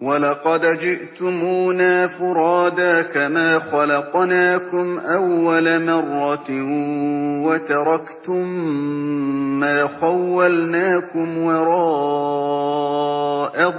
وَلَقَدْ جِئْتُمُونَا فُرَادَىٰ كَمَا خَلَقْنَاكُمْ أَوَّلَ مَرَّةٍ وَتَرَكْتُم مَّا خَوَّلْنَاكُمْ وَرَاءَ